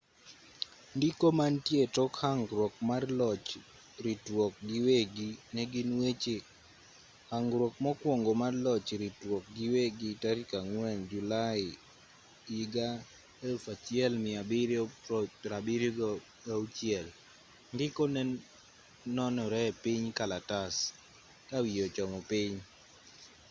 ndiko mantie etok hangruok mar loch ritruok giwegi negin weche hangruok mokwongo mar loch ritruok giwegi tarik 4 julai 1776 ndiko nenore-epiny kalatas kawiye ochomo piny